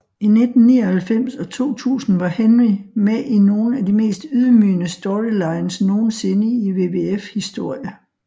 I 1999 og 2000 var Henry med i nogle af de mest ydmygende storylines nogensinde i WWF historie